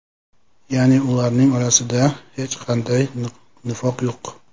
Ya’ni ularning orasida hech qanday nifoq yo‘q.